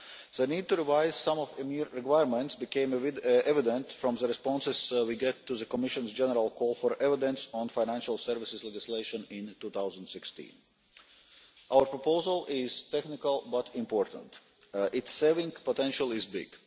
The need to revise some of EMIR's requirements became evident from the responses we got to the Commission's general call for evidence on financial services legislation in 2016. Our proposal is technical but important. Its savings potential is big.